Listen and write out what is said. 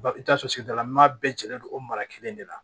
I bɛ t'a sɔrɔ sigidalama bɛɛ jɛlen don o mara kelen de la